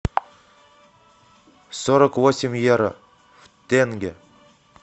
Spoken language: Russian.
сорок восемь евро в тенге